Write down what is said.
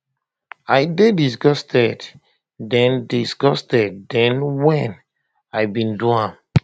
i dey disgusted den disgusted den wen um i bin do am